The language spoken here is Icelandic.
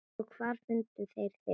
Og hvar fundu þeir þig.